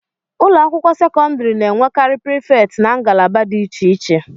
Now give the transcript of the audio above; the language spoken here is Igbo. ụlọ akwụkwọ sekọndrị na-enwekarị prịfet na ngalaba dị iche iche